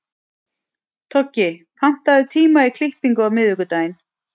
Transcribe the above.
Toggi, pantaðu tíma í klippingu á miðvikudaginn.